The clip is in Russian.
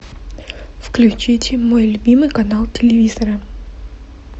включите мой любимый канал телевизора